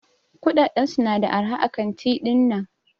Kudaden su na da araha a kanti dinnan.